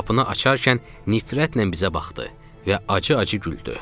Qapını açarkən nifrətlə bizə baxdı və acı-acı güldü.